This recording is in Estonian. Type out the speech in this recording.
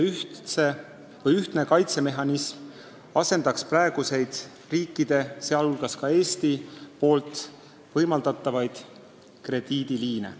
See ühtne kaitsemehhanism asendaks praeguseid riikide, sh Eesti poolt võimaldatavaid krediidiliine.